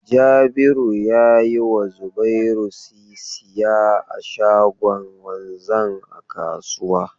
Jabiru ya yi wa Zubairu sisiya a shagon wanzan a kasuwa.